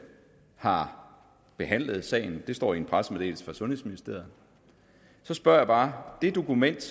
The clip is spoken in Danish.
har behandlet sagen det står i en pressemeddelelse fra sundhedsministeriet så spørger jeg bare det dokument